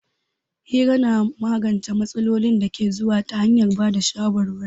Hira na magance matsalolin da ke zuwa ta hanyar ba da shawarwari.